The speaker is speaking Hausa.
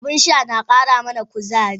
Abun sha na kara mana kuzari.